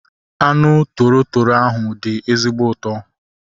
Anụ toro toro ahu dị ezigbo ụtọ